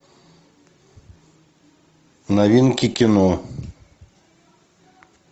новинки кино